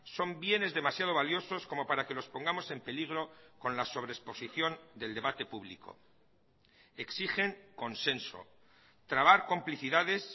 son bienes demasiado valiosos como para que los pongamos en peligro con la sobre exposición del debate público exigen consenso trabar complicidades